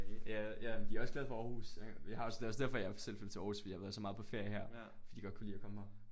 Ja ja men de er også glade for Aarhus vi har også det er også derfor jeg selv flyttede til Aarhus fordi jeg har været så meget på ferie her fordi jeg godt kunne lide at komme her